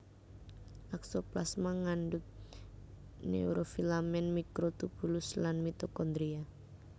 Aksoplasma ngandhut neurofilament mikrotubulus lan mitokondria